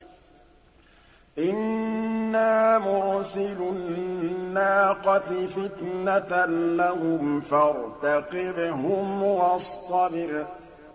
إِنَّا مُرْسِلُو النَّاقَةِ فِتْنَةً لَّهُمْ فَارْتَقِبْهُمْ وَاصْطَبِرْ